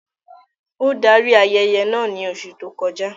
Ó darí ayẹyẹ naa ní oṣù tó kọ já